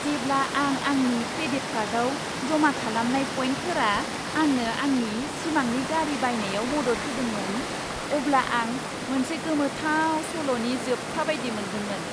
जेब्ला आं आंनि क्रेडिट कार्डआव जमा खालामनाय पइन्टफोरा आंनो आंनि सिमांनि गारि बायनायाव मदद होदोंमोन, अब्ला आं मोनसे गोमोथाव सल'नि जोबथा बायदि मोन्दोंमोन।